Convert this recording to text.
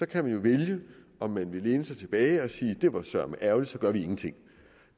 kan man jo vælge om man vil læne sig tilbage og sige at det var søreme ærgerligt og så gør vi ingenting